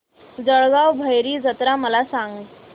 जळगाव भैरी जत्रा मला सांग